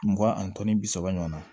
Mugan ani tan ni bi saba ɲɔgɔn na